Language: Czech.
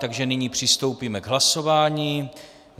Takže nyní přistoupíme k hlasování.